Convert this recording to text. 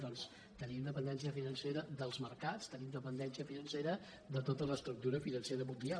doncs tenim dependència financera dels mercats tenim dependència financera de tota l’estructura financera mundial